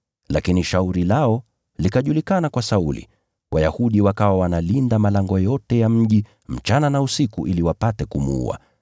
Lakini shauri lao likajulikana kwa Sauli. Wayahudi wakawa wanalinda malango yote ya mji, usiku na mchana ili wapate kumuua.